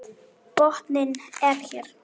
Við verðum að halda hópinn!